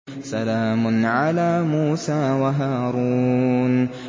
سَلَامٌ عَلَىٰ مُوسَىٰ وَهَارُونَ